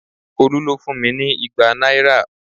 Olu ló fún mi ní igba náírà